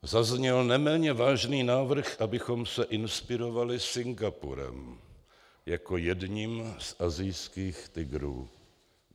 Zazněl neméně vážný návrh, abychom se inspirovali Singapurem jako jedním z asijských tygrů.